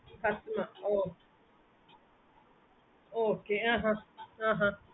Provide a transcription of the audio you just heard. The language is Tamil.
ooh okay ah ah